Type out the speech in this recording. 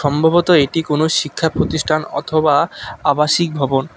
সম্ভবত এটি কোনো শিক্ষা প্রতিষ্ঠান অথবা আবাসিক ভবন।